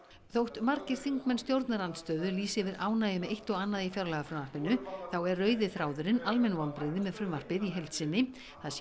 þótt margir þingmenn stjórnarandstöðu lýsi yfir ánægju með eitt og annað í fjárlagafrumvarpinu þá er rauði þráðurinn almenn vonbrigði með frumvarpið í heild sinni það sé